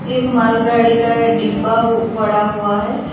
एक मालगाड़ी का डिब्बा हु पड़ा हुआ है।